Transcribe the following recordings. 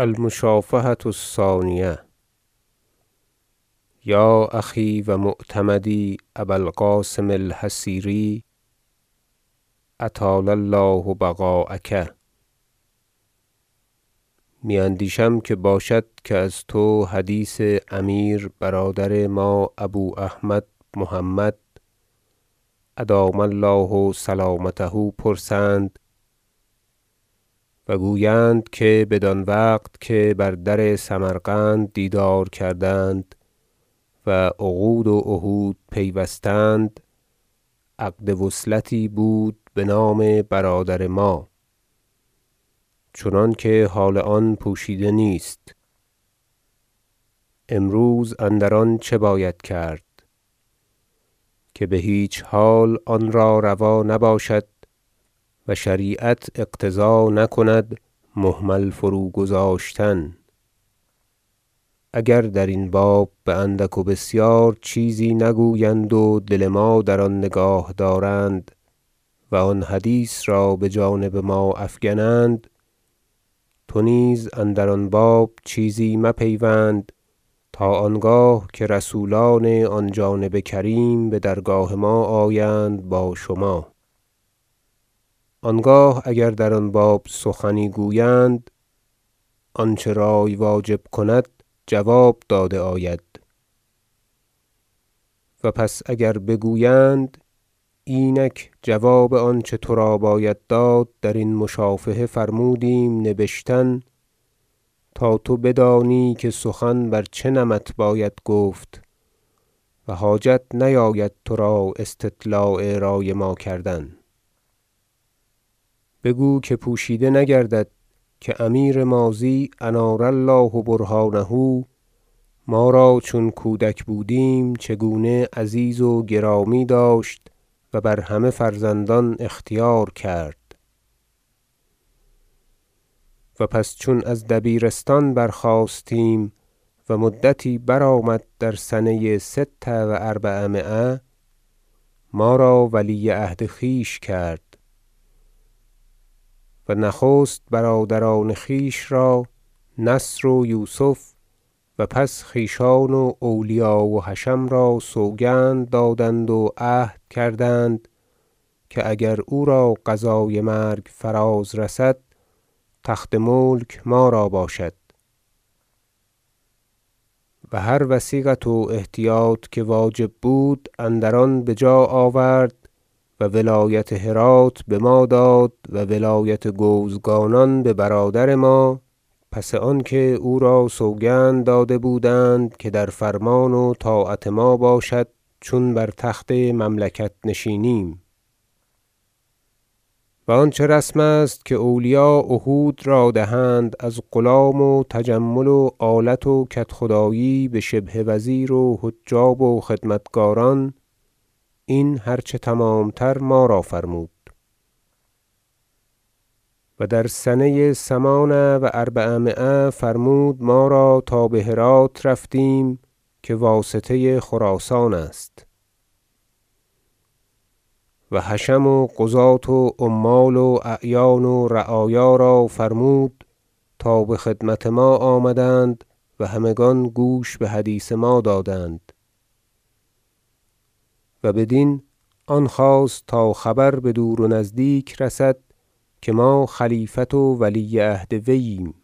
المشافهة الثانیة یا أخی و معتمدی ابا القاسم الحصیری اطال الله بقاءک می اندیشم که باشد که از تو حدیث امیر برادر ما ابو احمد محمد ادام الله سلامته پرسند و گویند که بدان وقت که بر در سمرقند دیدار کردند و عقود و عهود پیوستند عقد وصلتی بود بنام برادر ما چنانکه حال آن پوشیده نیست امروز اندر آن چه باید کرد که بهیچ حال آنرا روا نباشد و شریعت اقتضا نکند مهمل فروگذاشتن اگر درین باب باندک و بسیار چیزی نگویند و دل ما در آن نگاه دارند و آن حدیث را بجانب ما افگنند تو نیز اندر آن باب چیزی مپیوند تا آنگاه که رسولان آن جانب کریم بدرگاه ما آیند با شما آنگاه اگر در آن باب سخنی گویند آنچه رأی واجب کند جواب داده آید و پس اگر بگویند اینک جواب آنچه ترا باید داد درین مشافهه فرمودیم نبشتن تا تو بدانی که سخن بر چه نمط باید گفت و حاجت نیاید ترا استطلاع رأی ما کردن بگو که پوشیده نگردد که امیر ماضی انار الله برهانه ما را چون کودک بودیم چگونه عزیز و گرامی داشت و بر همه فرزندان اختیار کرد و پس چون از دبیرستان برخاستیم و مدتی برآمد در سنه ست و اربعمایه ما را ولیعهد خویش کرد و نخست برادران خویش را نصر و یوسف و پس خویشان و اولیا و حشم را سوگند دادند و عهد کردند که اگر او را قضای مرگ فراز رسد تخت ملک ما را باشد و هروثیقت و احتیاط که واجب بود اندر آن بجا آورد و ولایت هرات بما داد و ولایت گوزگانان ببرادر ما پس آنکه او را سوگند داده بودند که در فرمان و طاعت ما باشد چون بر تخت مملکت نشینیم و آنچه رسم است که اولیاء عهود را دهند از غلام و تجمل و آلت و کدخدایی بشبه وزیر و حجاب و خدمتگاران این هرچه تمامتر ما را فرمود و در سنه ثمان و اربعمایه فرمود ما را تا بهرات رفتیم که واسطه خراسان است و حشم و قضاة و عمال و اعیان و رعایا را فرمود تا بخدمت ما آمدند و همگان گوش بحدیث ما دادند و بدین آن خواست تا خبر بدور و نزدیک رسد که ما خلیفت و ولی عهد وی ایم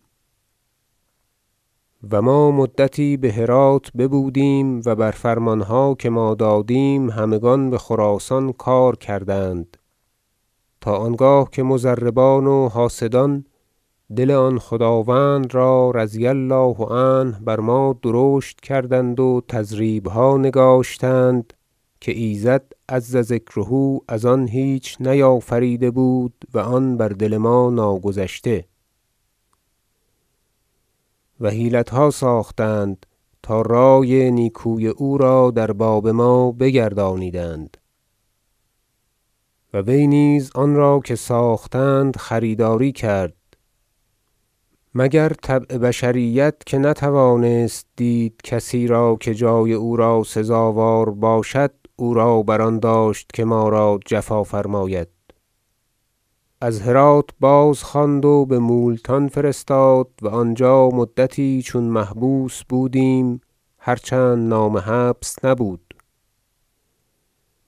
و ما مدتی بهرات ببودیم و بر فرمانها که ما دادیم همگان بخراسان کار کردند تا آنگاه که مضربان و حاسدان دل آن خداوند را رضی الله عنه بر ما درشت کردند و تضریبها نگاشتند که ایزد عزذکره از آن هیچ چیز نیافریده بود و آن بر دل ما ناگذشته و حیلتها ساختند تا رأی نیکوی او را در باب ما بگردانیدند و وی نیز آن را که ساختند خریداری کرد مگر طبع بشریت که نتوانست دید کسی را که جای او را سزاوار باشد او را بر آن داشت که ما را جفا فرماید از هرات بازخواند و بمولتان فرستاد و آنجا مدتی چون محبوس بودیم هرچند نام حبس نبود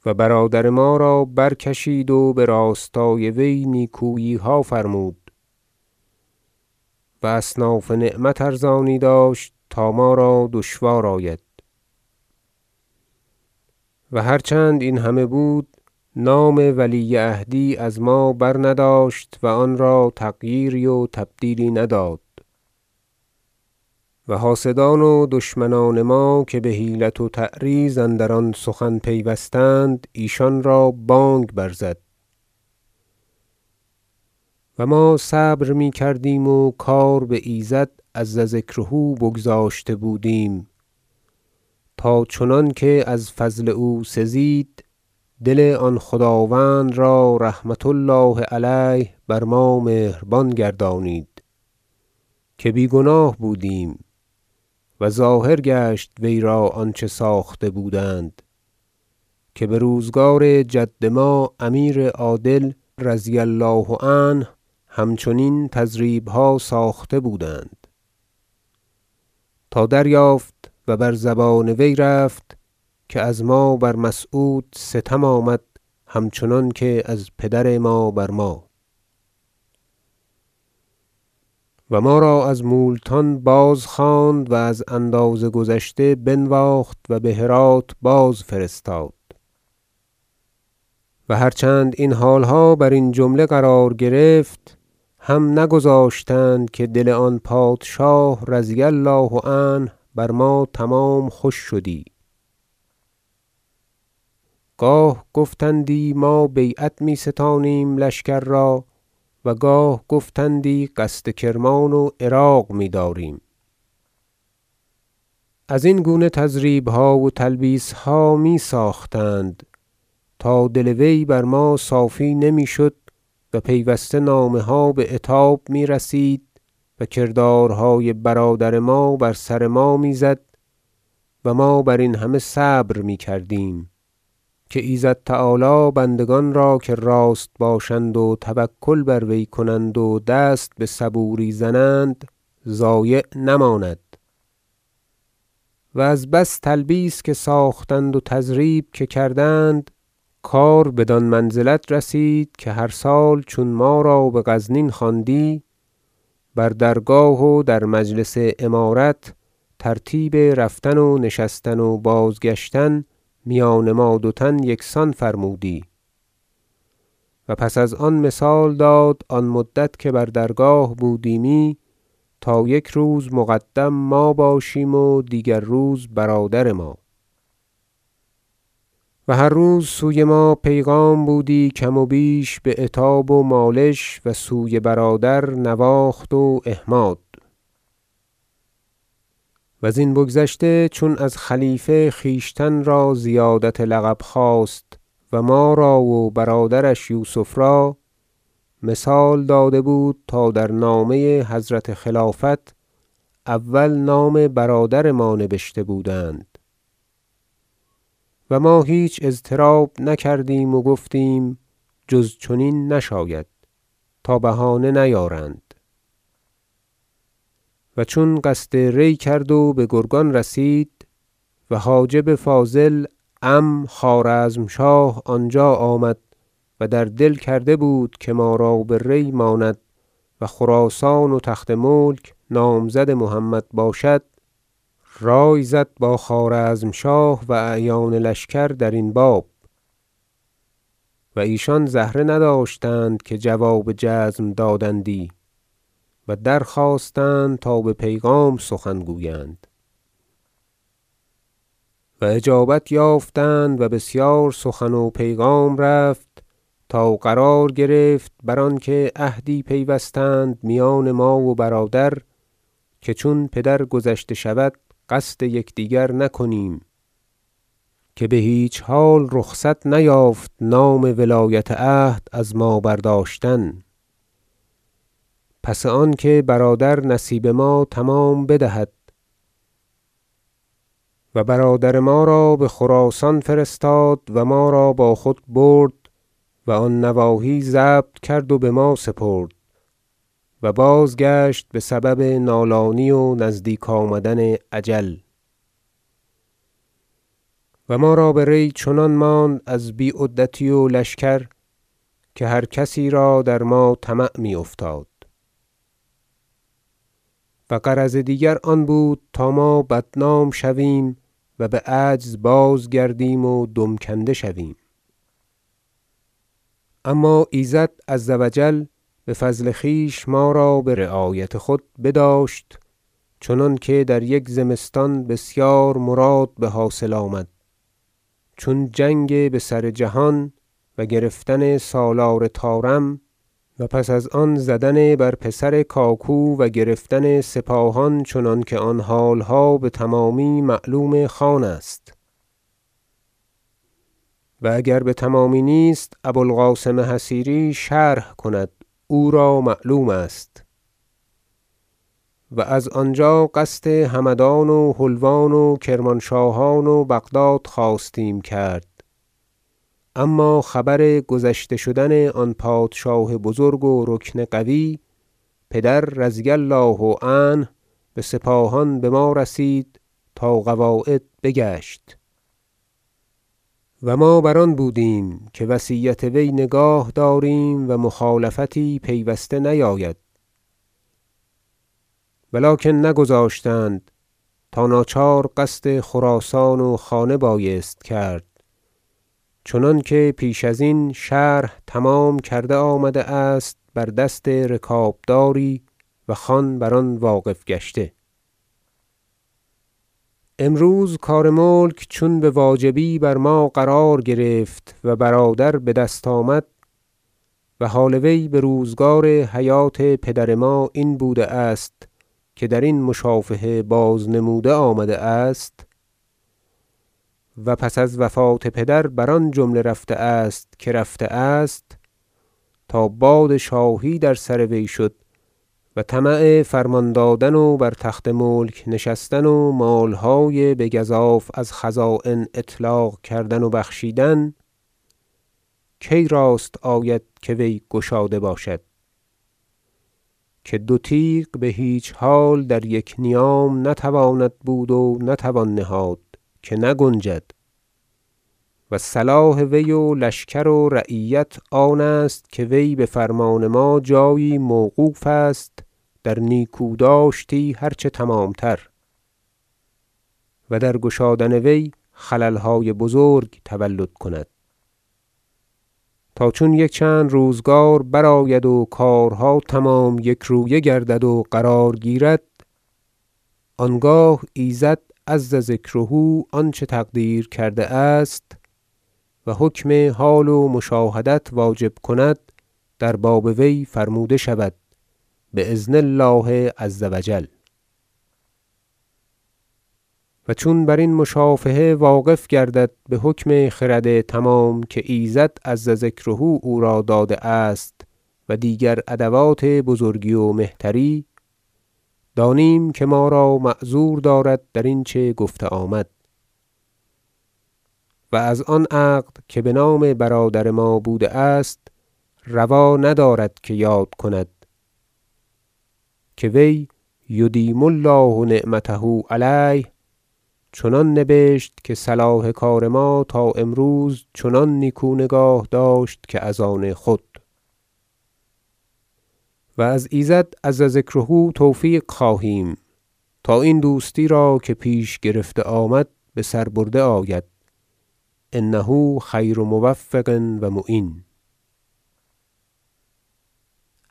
و برادر ما را برکشید و براستای وی نیکوییها فرمود و اصناف نعمت ارزانی داشت تا ما را دشوار آید و هرچند این همه بود نام ولی عهدی از ما برنداشت و آن را تغییری و تبدیلی نداد و حاسدان و دشمنان ما که بحیلت و تعریض اندر آن سخن پیوستند ایشان را بانگ برزد و ما صبر می کردیم و کار بایزد عزذکره بگذاشته بودیم تا چنانکه از فضل او سزید دل آن خداوند را رحمة الله علیه بر ما مهربان گردانید که بی گناه بودیم و ظاهر گشت وی را آنچه ساخته بودند- که بروزگار جد ما امیر عادل رضی الله عنه همچنین تضریبها ساخته بودند- تا دریافت و بر زبان وی رفت که از ما بر مسعود ستم آمد همچنان که از پدر ما بر ما و ما را از مولتان بازخواند و از اندازه گذشته بنواخت و بهرات بازفرستاد و هرچند این حالها برین جمله قرار گرفت هم نگذاشتند که دل آن پادشاه رضی الله عنه بر ما تمام خوش شدی گاه گفتندی ما بیعت می ستانیم لشکر را و گاه گفتندی قصد کرمان و عراق میداریم ازین گونه تضریبها و تلبیسها می ساختند تا دل وی بر ما صافی نمیشد و پیوسته نامه ها بعتاب میرسید و کردارهای برادر ما بر سر ما میزد ما برین همه صبر میکردیم که ایزد تعالی بندگان را که راست باشند و توکل بر وی کنند و دست بصبوری زنند ضایع نماند و از بس تلبیس که ساختند و تضریب که کردند کار بدان منزلت رسید که هر سال چون ما را بغزنین خواندی بر درگاه و در مجلس امارت ترتیب رفتن و نشستن و بازگشتن میان ما دو تن یکسان فرمودی و پس از آن مثال داد آن مدت که بر درگاه بودیمی تا یک روز مقدم ما باشیم و دیگر روز برادر ما و هر روز سوی ما پیغام بودی کم وبیش بعتاب و مالش و سوی برادر نواخت و احماد وزین بگذشته چون از خلیفه خویشتن را زیادت لقب خواست و ما را و برادرش یوسف را مثال داده بود تا در نامه حضرت خلافت اول نام برادر ما نبشته بودند و ما هیچ اضطراب نکردیم و گفتیم جز چنین نشاید تا بهانه نیارند و چون قصد ری کرد و بگرگان رسید و حاجب فاضل عم خوارزمشاه آنجا آمد- و در دل کرده بود که ما را بری ماند و خراسان و تخت ملک نامزد محمد باشد - رأی زد با خوارزمشاه و اعیان لشکر درین باب و ایشان زهره نداشتند که جواب جزم دادندی و درخواستند تا به پیغام سخن گویند و اجابت یافتند و بسیار سخن و پیغام رفت تا قرار گرفت بر آنکه عهدی پیوستند میان ما و برادر که چون پدر گذشته شود قصد یکدیگر نکنیم- که بهیچ حال رخصت نیافت نام ولایت عهد از ما برداشتن- پس آنکه برادر نصیب ما تمام بدهد و برادر ما را بخراسان فرستاد و ما را با خود برد و آن نواحی ضبط کرد و بما سپرد و بازگشت بسبب نالانی و نزدیک آمدن اجل و ما را بری چنان ماند از بی عدتی و لشکر که هر کسی را در ما طمع می افتاد و غرض دیگر آن بود تا ما بدنام شویم و بعجز بازگردیم و دم کنده شویم اما ایزد عزوجل بفضل خویش ما را برعایت خود بداشت چنانکه در یک زمستان بسیار مراد بحاصل آمد چون جنگ بسر جهان و گرفتن سالار طارم و پس از آن زدن بر پسر کاکو و گرفتن سپاهان چنانکه آن حالها بتمامی معلوم خان است- و اگر بتمامی نیست ابو القاسم حصیری شرح کند او را معلوم است- و از آنجا قصد همدان و حلوان و کرمانشاهان و بغداد خواستیم کرد اما خبر گذشته شدن آن پادشاه بزرگ و رکن قوی پدر رضی الله عنه بسپاهان بما رسید تا قواعد بگشت و ما بر آن بودیم که وصیت وی نگاه داریم و مخالفتی پیوسته نیاید و لکن نگذاشتند تا ناچار قصد خراسان و خانه بایست کرد چنانکه پیش ازین شرح تمام کرده آمده است بر دست رکابداری و خان بر آن واقف گشته امروز کار ملک چون بواجبی بر ما قرار گرفت و برادر بدست آمد و حال وی بروزگار حیات پدر ما این بوده است که درین مشافهه بازنموده آمده است و پس از وفات پدر بر آن جمله رفته است که رفته است تا باد شاهی در سر وی شد و طمع فرمان دادن و بر تخت ملک نشستن و مالهای بگزاف از خزاین اطلاق کردن و بخشیدن کی راست آید که وی گشاده باشد که دو تیغ بهیچ حال در یک نیام نتواند بود و نتوان نهاد که نگنجد و صلاح وی و لشکر و رعیت آن است که وی بفرمان ما جایی موقوف است در نیکو داشتی هرچه تمامتر و در گشادن وی خللهای بزرگ تولد کند تا چون یک چند روزگار برآید و کارها تمام یک رویه گردد و قرار گیرد آنگاه ایزد عزذکره آنچه تقدیر کرده است و حکم حال و مشاهدت واجب کند در باب وی فرموده شود باذن الله عزوجل و چون برین مشافهه واقف گردد بحکم خرد تمام که ایزد عزذکره او را داده است و دیگر ادوات بزرگی و مهتری دانیم که ما را معذور دارد درین چه گفته آمد و از آن عقد که بنام برادر ما بوده است روا ندارد که یاد کند که وی یدیم الله نعمته علیه چنان نبشت که صلاح کار ما تا امروز چنان نیکو نگاه داشت که از آن خود و از ایزد عزذکره توفیق خواهیم تا این دوستی را که پیش گرفته آمد بسر برده آید انه خیر موفق و معین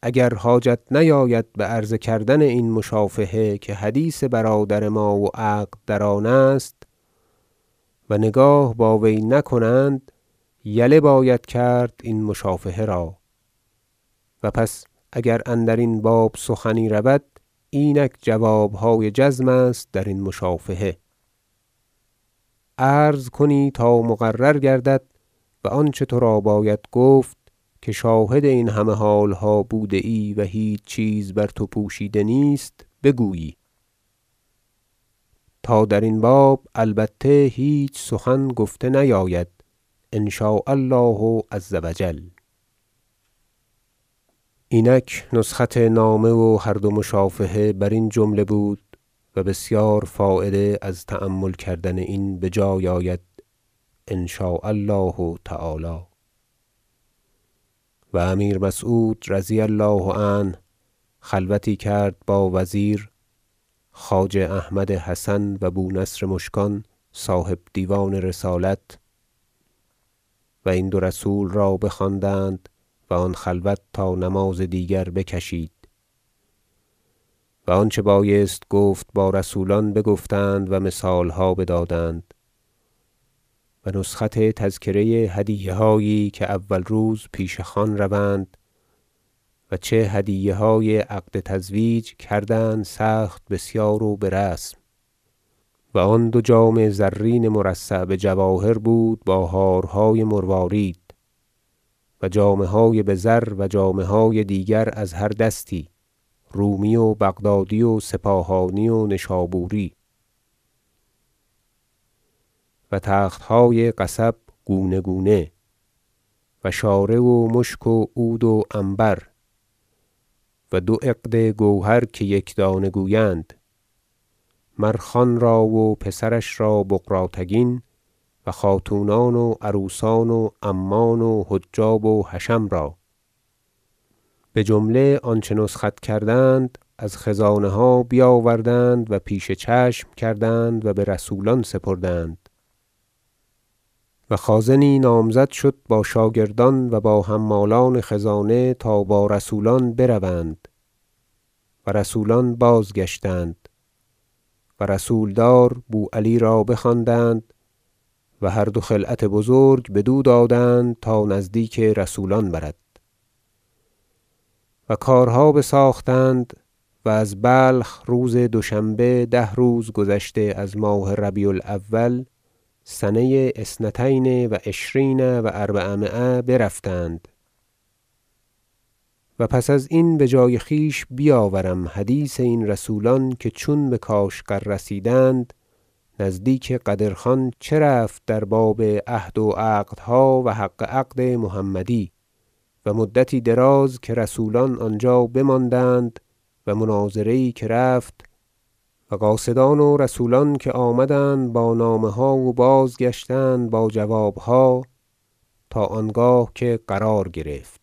اگر حاجت نیاید بعرض کردن این مشافهه که حدیث برادر ما و عقد در آن است و نگاه با وی نکنند یله باید کرد این مشافهه را و پس اگر اندرین باب سخنی رود اینک جوابهای جزم است درین مشافهه عرض کنی تا مقرر گردد و آنچه ترا باید گفت- که شاهد همه حالها بوده ای و هیچ چیز بر تو پوشیده نیست- بگویی تا درین باب البته هیچ سخن گفته نیاید ان شاء الله عزوجل اینک نسخت نامه و هر دو مشافهه برین جمله بود و بسیار فایده از تأمل کردن این بجای آید ان شاء الله تعالی و امیر مسعود رضی الله عنه خلوتی کرد با وزیر خواجه احمد حسن و بو نصر مشکان صاحب دیوان رسالت و این دو رسول را بخواندند و آن خلوت تا نماز دیگر بکشید و آنچه بایست گفت با رسولان بگفتند و مثالها بدادند و نسخت تذکره هدیه- هایی که اول روز پیش خان روند و چه هدیه های عقد تزویج کردند سخت بسیار و برسم و آن دو جام زرین مرصع بجواهر بود با هارهای مروارید و جامه های بزر و جامه های دیگر از هر دستی رومی و بغدادی و سپاهانی و نشابوری و تخت های قصب گونه گونه و شاره و مشک و عود و عنبر و دو عقد گوهر که یکدانه گویند مر- خانرا و پسرش را بغراتگین و خاتونان و عروسان و عمان و حجاب و حشم را بجمله آنچه نسخت کردند از خزانه ها بیاوردند و پیش چشم کردند و برسولان سپردند و خازنی نامزد شد با شاگردان و با حمالان خزانه تا با رسولان بروند و رسولان بازگشتند و رسول دار بو علی را بخواندند و هر دو خلعت بزرگ بدو دادند تا نزدیک رسولان برد و کارها بساختند و از بلخ روز دوشنبه ده روز گذشته از ماه ربیع الاول سنه اثنتین و عشرین و اربعمایه برفتند و پس ازین بجای خویش بیاورم حدیث این رسولان که چون بکاشغر رسیدند نزدیک قدر خان چه رفت در باب عهد و عقدها و حق عقد محمدی و مدتی دراز که رسولان آنجا بماندند و مناظره یی که رفت و قاصدان و رسولان که آمدند با نامه ها و بازگشتند با جوابها تا آنگاه که قرار گرفت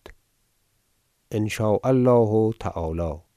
ان شاء الله تعالی